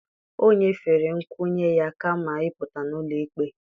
O nyefere nkwenye ya kama ịpụta n'ụlọ ikpe